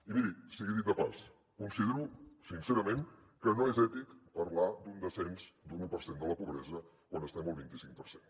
i miri sigui dit de pas considero sincerament que no és ètic parlar d’un descens d’un u per cent de la pobresa quan estem al vint i cinc per cent